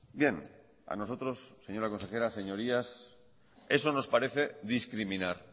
bien a nosotros señora consejera señorías eso nos parece discriminar